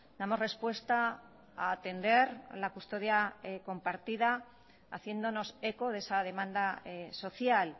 damos respuesta a atender la custodia compartida haciéndonos eco de esa demanda social